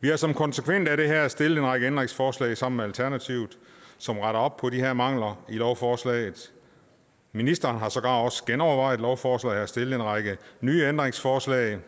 vi har som konsekvens af det her stillet en række ændringsforslag sammen med alternativet som retter op på de her mangler i lovforslaget ministeren har sågar også genovervejet lovforslaget og har stillet en række nye ændringsforslag